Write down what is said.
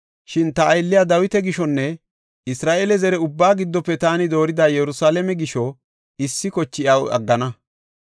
Shin ta aylliya Dawita gishonne Isra7eele zare ubbaa giddofe taani doorida Yerusalaame gisho issi koche iyaw aggana.